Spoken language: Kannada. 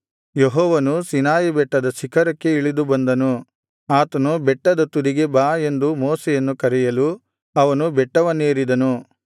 ಯೆಹೋವನು ಸೀನಾಯಿ ಬೆಟ್ಟದ ಶಿಖರಕ್ಕೆ ಇಳಿದು ಬಂದನು ಆತನು ಬೆಟ್ಟದ ತುದಿಗೆ ಬಾ ಎಂದು ಮೋಶೆಯನ್ನು ಕರೆಯಲು ಅವನು ಬೆಟ್ಟವನ್ನೇರಿದನು